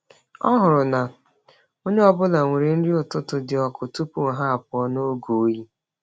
Ọ hụrụ na onye ọ bụla nwere nri ụtụtụ dị ọkụ tupu ha apụọ n’oge oyi.